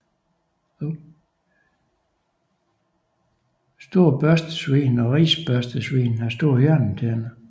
Store børstesvin og risbørstesvin har store hjørnetænder